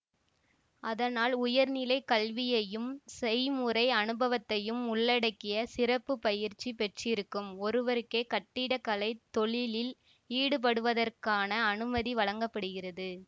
அதனால் உயர்நிலை கல்வியையும் செய்முறை அனுபவத்தையும் உள்ளடக்கிய சிறப்பு பயிற்சி பெற்றிருக்கும் ஒருவருக்கே கட்டிட கலை தொழிலில் ஈடுபடுவதற்கான அனுமதி வழங்க படுகிறது